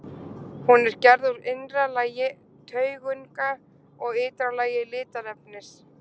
Hún er gerð úr innra lagi taugunga og ytra lagi litarefnis.